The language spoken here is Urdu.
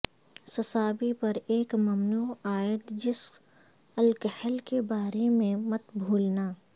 سسابی پر ایک ممنوع عائد جس الکحل کے بارے میں مت بھولنا